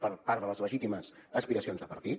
per part de les legítimes aspiracions de partit